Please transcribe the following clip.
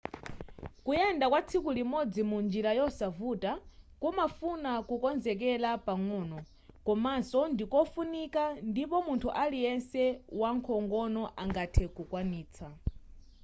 kuyenda kwatsiku limodzi mu njila yosavuta kumafuna kukonzekela pang'ono komanso ndikofunika ndipo munthu aliyese wankhongono angathe kukwanitsa